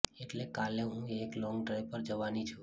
એટલે કાલે હું એક લોન્ગ ડ્રાઈવ પર જવાની છું